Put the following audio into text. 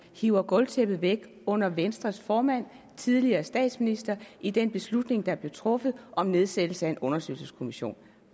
hiver gulvtæppet væk under venstres formand den tidligere statsminister i den beslutning der blev truffet om nedsættelse af en undersøgelseskommission